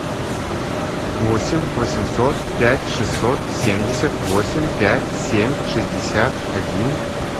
восемь восемьсот пять шестьсот семьдесят восемь пять семь шестьдесят один